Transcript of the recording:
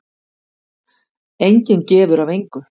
Enginn gefur af engu.